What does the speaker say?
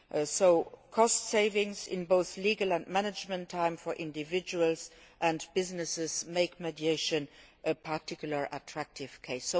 So cost savings in both legal and management time for individuals and businesses make mediation a particularly attractive case.